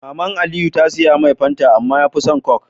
Maman aliyu ta siyamai fanta amma yafi son coke